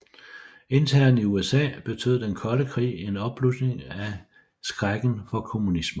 Internt i USA betød den kolde krig en opblusning af skrækken for kommunister